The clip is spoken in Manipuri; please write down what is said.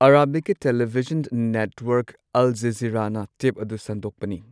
ꯑꯔꯥꯕꯤꯛꯀꯤ ꯇꯦꯂꯤꯚꯤꯖꯟ ꯅꯦꯠꯋꯥꯔꯛ ꯑꯜ ꯖꯓꯤꯔꯥꯅ ꯇꯦꯞ ꯑꯗꯨ ꯁꯟꯗꯣꯛꯄꯅꯤ꯫